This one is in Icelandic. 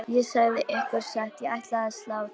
Ég segi ykkur satt, ég ætla að slá til.